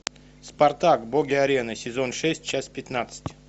спартак боги арены сезон шесть часть пятнадцать